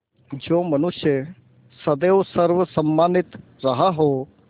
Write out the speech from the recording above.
जो मनुष्य सदैव सर्वसम्मानित रहा हो